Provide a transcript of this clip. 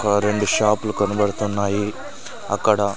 ఆ రెండు షాప్ లు కనబడుతున్నాయి అక్కడ.